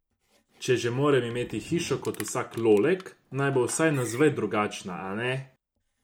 Če že moram imet hišo kot vsak lolek, naj bo vsaj navzven drugačna, a ne?